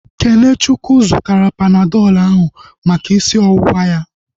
Kenechukwu zụtara Panadọl ahu maka isi ọwụwa ya